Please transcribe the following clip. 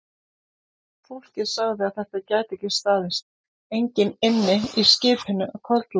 Fólkið sagði að þetta gæti ekki staðist, enginn ynni í skipinu að kvöldlagi.